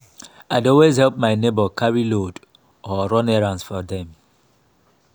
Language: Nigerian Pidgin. i dey always help my neighbor carry load or run errands for dem.